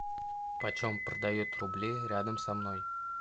почем продают рубли рядом со мной